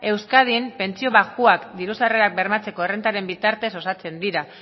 euskadin pentsio baxuak diru sarrerak bermatzeko errentaren bidez osatzen dira